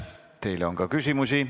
Teile on ka küsimusi.